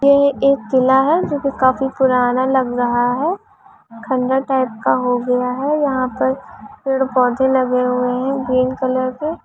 ये एक किला है जो कि काफी पुराना लग रहा है खंडर टाइप का लग रहा है यहां पे पेड़-पौधे लगे है ग्रीन कलर के।